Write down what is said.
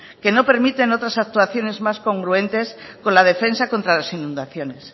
que no permiten otras actuaciones más congruentes con la defensa contra las inundaciones